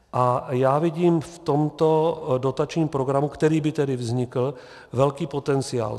A já vidím v tomto dotačním programu, který by tedy vznikl, velký potenciál.